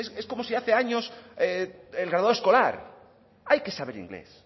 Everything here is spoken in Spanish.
es como si hace años el graduado escolar hay que saber inglés